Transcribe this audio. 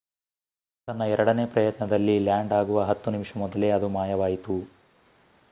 ತನ್ನ ಎರಡನೇ ಪ್ರಯತ್ನದಲ್ಲಿ ಲ್ಯಾಂಡ್ ಆಗುವ ಹತ್ತು ನಿಮಿಷ ಮೊದಲೇ ಅದು ಮಾಯವಾಯಿತು